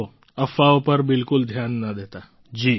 જુઓ અફવાઓ પર બિલકુલ ધ્યાન ન દેતા